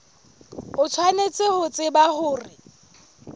o tshwanetse ho tseba hore